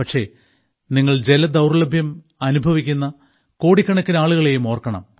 പക്ഷേ നിങ്ങൾ ജലദൌർലഭ്യം അനുഭവിക്കുന്ന കോടിക്കണക്കിന് ആളുകളെയും ഓർക്കണം